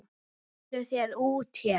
Komdu þér út héðan!